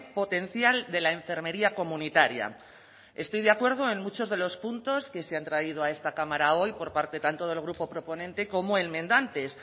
potencial de la enfermería comunitaria estoy de acuerdo en muchos de los puntos que se han traído a esta cámara hoy por parte tanto del grupo proponente como enmendantes